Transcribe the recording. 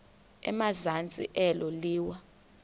emazantsi elo liwa